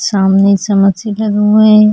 सामने समोसे लगे हुए हैं।